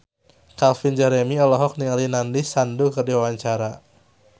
Calvin Jeremy olohok ningali Nandish Sandhu keur diwawancara